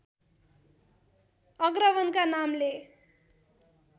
अग्रवनका नामले